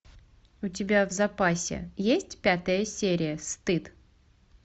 у тебя в запасе есть пятая серия стыд